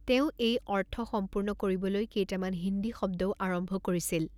তেওঁ এই অৰ্থ সম্পূৰ্ণ কৰিবলৈ কেইটামান হিন্দী শব্দও আৰম্ভ কৰিছিল....